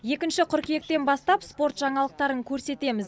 екінші қыркүйектен бастап спорт жаңалықтарын көрсетеміз